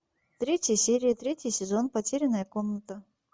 третья серия третий сезон потерянная комната